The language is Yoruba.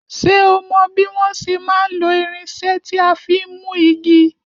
Ṣé o mò bí wọn ṣe má n lo irinsé tí a fin mú igi?